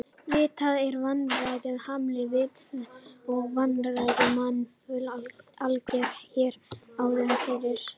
Vitað er að vannæring hamlar vitsmunaþroska og að vannæring var mun algengari hér áður fyrr.